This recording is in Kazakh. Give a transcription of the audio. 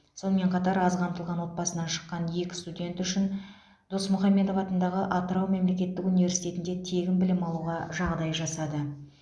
сонымен қатар аз қамтылған отбасынан шыққан екі студент үшін досмұхамедов атындағы атырау мемлекеттік университетінде тегін білім алуға жағдай жасады